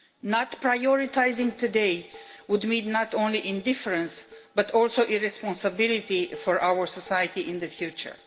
Not prioritising today would meet not only indifference but also irresponsibility for our society in the future.